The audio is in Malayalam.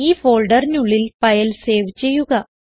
ഈ ഫോൾഡറിനുള്ളിൽ ഫയൽ സേവ് ചെയ്യുക